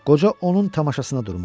Qoca onun tamaşasına durmuşdu.